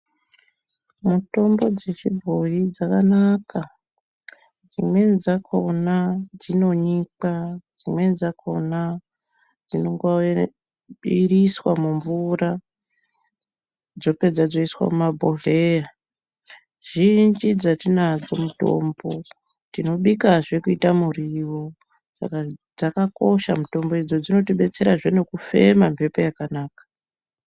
Mitombo dzechibhoyi dzakanaka dzimweni dzakona dzinonyikwa dzimweni dzakona dzinoiriswa mumvura dzopedza dzoiswa mumabhodhleya zhinji dzetinadzo mitombo tinobikazve kuita muriwo saka dzakakosha mitombo idzodzo dzinotidetsera nekufema mbepo yakanaka.